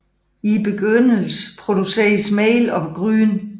I begyndelsen produceredes mel og gryn